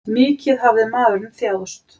Mikið hafði maðurinn þjáðst.